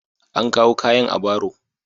An kawo kayan a baro.